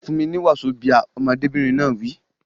Fún mi ní wazobia! Ọmọdébìnrin náà wí.